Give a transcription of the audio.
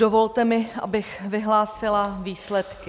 Dovolte mi, abych vyhlásila výsledky.